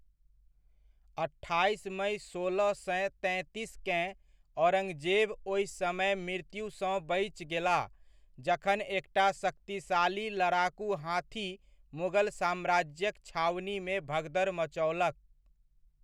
अट्ठाइस मइ सोलह सए तैंतीसकेँ, औरंगजेब ओहि समय मृत्युसँ बचि गेलाह जखन एकटा शक्तिशाली लड़ाकू हाथी मुगल साम्राज्यक छावनीमे भगदड़ मचओलक।